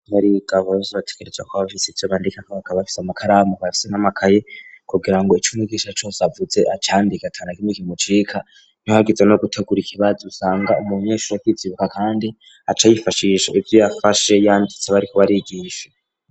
Nrigavorozi bategereja kw abafisi o bandikako bakabafise amakaramu kobafise nk'amakaye kugira ngo icumi igisha cose avuze acandika atana kimwe kimucika ntihagize no guteguraika ibazi usanga umunyeshuru yakwizibuka, kandi aca ayifashissha ivyo yafashe yanditse bari kuba arigisha.